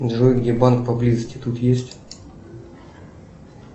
джой где банк поблизости тут есть